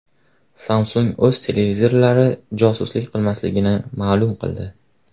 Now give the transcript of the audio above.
Samsung o‘z televizorlari josuslik qilmasligini ma’lum qildi.